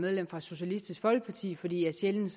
medlem fra socialistisk folkeparti fordi jeg sjældent